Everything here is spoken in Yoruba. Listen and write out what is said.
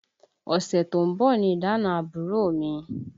Ọṣẹ tó ń bọ̀ ni ìdána àbúrò mi